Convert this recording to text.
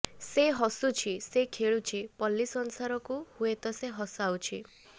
ସେ ହସୁଛି ସେ ଖେଳୁଛି ପଲ୍ଲୀ ସଂସାରକୁ ହୁଏତ ସେ ହସାଉଛି